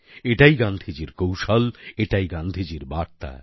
এটাই গান্ধীজীর কৌশল এটাই গান্ধীজীর বার্তা